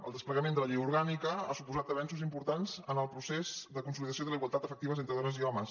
el desplegament de la llei orgànica ha suposat avenços importants en el procés de consolidació de la igualtat efectiva entre dones i homes